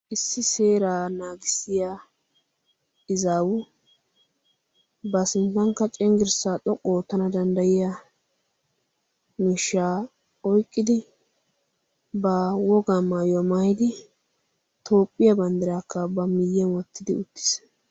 issi seeraa naagissiya izaawu ba sinttankka cinggirssaa xoqqu oo tana danddayiya mishshaa oiqqidi ba wogaa maayyo maayidi toophphiyaa banddiraakka ba miyyyn wottidi uttiis